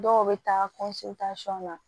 Dɔw bɛ taa na